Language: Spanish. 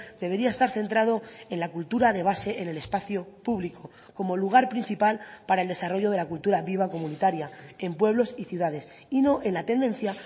debería estar centrado en la cultura de base en el espacio público como lugar principal para el desarrollo de la cultura viva comunitaria en pueblos y ciudades y no en la tendencia